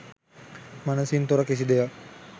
මනසින් තොර කිසි දෙයක්